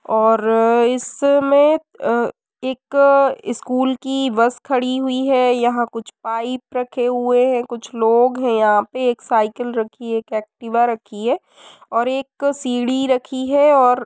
और इसमें अ एक स्कूल की बस खड़ी हुई है। यहाँ कुछ पाइप रखे हुए हैं। कुछ लोग हैं यहाँ पे एक साईकिल रखी है। एक एक्टिवा रखी है और एक सीढ़ी रखी है और --